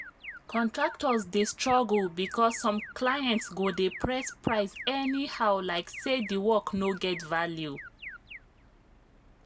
contractors dey struggle because some clients go dey press price anyhow like say the work no get value.